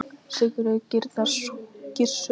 Sigurður Gizurarson.